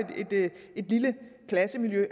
et lille klassemiljø